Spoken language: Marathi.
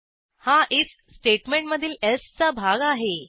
हा आयएफ स्टेटमेंटमधील एल्से चा भाग आहे